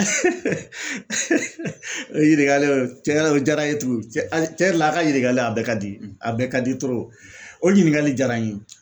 o ɲininkali o tiɲɛna o diyara n ye tugun cɛ a' ye tiɲɛ yɛrɛ la a' ka ɲininkali a bɛɛ ka di a bɛɛ ka di o ɲininkali diyara n ye.